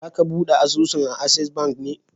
Za ka buɗe asusun a Ases ban ne?